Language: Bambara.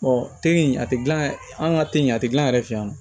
teri in a tɛ gilan yɛrɛ an ka teliya a tɛ gilan an yɛrɛ fɛ yan